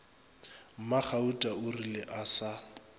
mmagauta o rile a sa